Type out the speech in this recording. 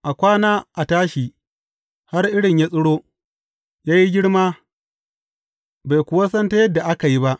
A kwana a tashi har irin yă tsiro, yă yi girma, bai kuwa santa yadda aka yi ba.